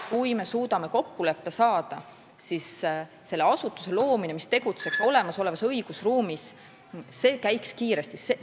Kui me suudame kokkuleppele saada, siis selle asutuse loomine, mis tegutseks olemasolevas õigusruumis, käiks kiiresti.